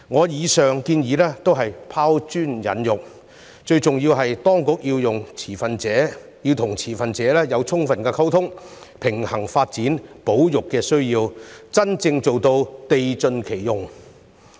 以上建議旨在拋磚引玉，最重要的是當局應和持份者有充分溝通，並平衡發展與保育的需要，真正做到地盡其用。